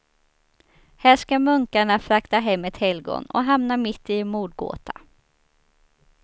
Här ska munkarna frakta hem ett helgon och hamnar mitt i en mordgåta.